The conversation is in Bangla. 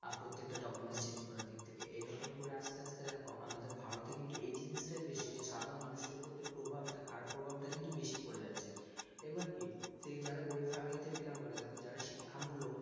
আর প্রত্যেকটা documents change করার দিক থেকে এরক্ম করে আস্তে আস্তে দেখ আমাদের ভারতে কিন্তু এই জিনিসতাই বেশি যে সাধারণ মানুষের প্রতি প্রভাব টা খারাপ প্রভাব তাই কিন্তু বেশি পড়ে যাচ্ছে আবার কি সেই যারা গরিব family থেকে belong করে দেখা যারা শিক্ষামূলক